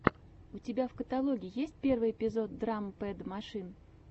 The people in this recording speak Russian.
у тебя в каталоге есть первый эпизод драм пэд машин